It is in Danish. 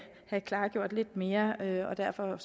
klargjort lidt mere og derfor